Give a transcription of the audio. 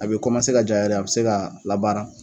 A be kɔmase ka j'a yɛrɛ ye a be se ka baara